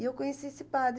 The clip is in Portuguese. E eu conheci esse padre.